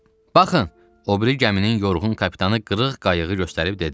Baxın, o biri gəminin yorğun kapitanı qırıq qayığı göstərib dedi: